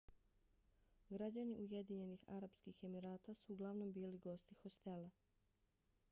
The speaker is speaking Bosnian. građani ujedinjenih arapskih emirata su uglavnom bili gosti hostela